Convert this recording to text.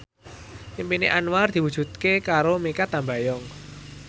impine Anwar diwujudke karo Mikha Tambayong